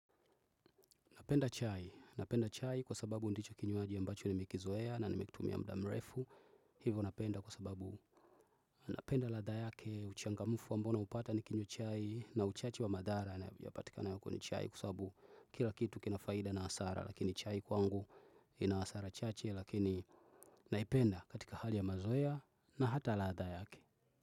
Napenda chai. Napenda chai kwa sababu ndicho kinywaji ambacho ni mekizoea na nimekitumia mdamrefu. Hivyo napenda kwa sababu napenda latha yake uchangamufu ambao naupata ni kinywa chai na uchachi wa madhara ya patikana yako kwenye chai kwasabu kila kitu kina faida na hasara. Lakini chai kwangu ina asara chache lakini naipenda katika hali ya mazoea na hata latha yake.